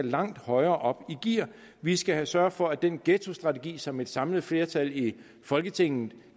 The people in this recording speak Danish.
langt højere op i gear vi skal sørge for at den ghettostrategi som et samlet flertal i folketinget